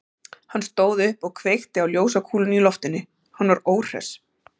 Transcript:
Hann stóð upp og kveikti á ljósakúlunni í loftinu, hann var óhress.